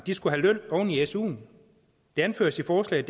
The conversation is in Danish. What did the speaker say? skal have løn oven i suen det anføres i forslaget